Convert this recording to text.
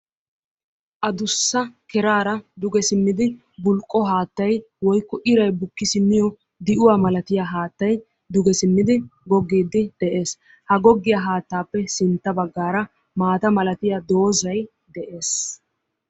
Adussa keraara duge simmidi bulqqo haattay woykko iray bukki simmiyo di'uwa malatiya haattay duge simmidi goggiiddi de'ees. Ha goggiya haattaappe sintta baggaara maata malatiya doozay de'ees.